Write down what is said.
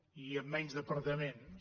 i amb menys departaments